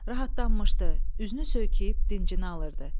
Rahatlanmışdı, üzünü söykəyib dincini alırdı.